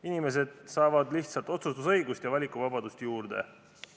Inimesed saavad lihtsalt otsustusõigust ja valikuvabadust juurde.